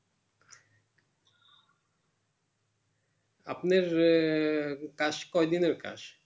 আপনার আহ কাজ কই দিনের কাজ